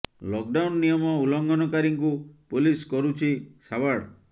lock down ନିୟମ ଉଲଘଂନ କାରୀଙ୍କୁ ପୋଲିସ କରୁଛି ସାବାଡ଼